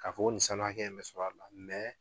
K'a fɔ ko nin sanu hakɛ bɛ sɔrɔ a la